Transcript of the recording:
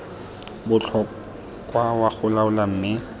botlhokwa wa go laola mme